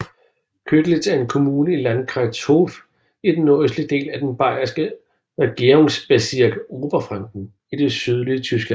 Köditz er en kommune i Landkreis Hof i den nordøstlige del af den bayerske regierungsbezirk Oberfranken i det sydlige Tyskland